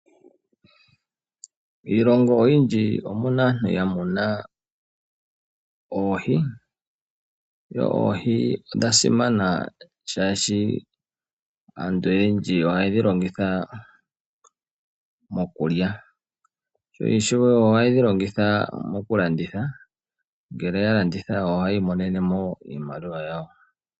Miilongo oyindji omu na aantu ya muna oohi. Oohi odha simana oshoka aantu oyendji oha ye dhi longitha mokulya noshowo oha ye dhi longitha mokulanditha ngele ya landitha oha yiimonenemo iimaliwa yawo.